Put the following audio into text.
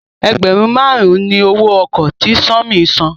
ẹgbẹrun márùn ní owó oko tí Sanmi sàn.